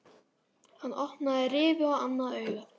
Hann opnaði rifu á annað augað.